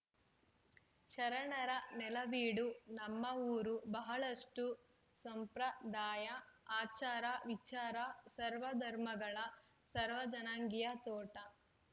ಶರಣರ ನೆಲವೀಡು ನಮ್ಮ ಊರು ಬಹಳಷ್ಟುಸಂಪ್ರದಾಯ ಆಚಾರ ವಿಚಾರ ಸರ್ವ ಧರ್ಮಗಳ ಸರ್ವ ಜನಾಂಗಿಯ ತೋಟ